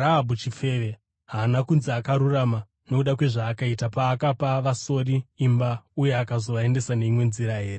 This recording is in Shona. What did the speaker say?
Rahabhi chifeve haana kunzi akarurama nokuda kwezvaakaita paakapa vasori imba uye akazovaendesa neimwe nzira here?